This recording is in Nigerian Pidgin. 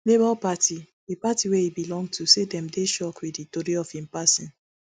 labour party di party wey e belong to say dem dey shocked wit di tori of im passing